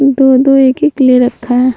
दो-दो एक-एक ले रखा है।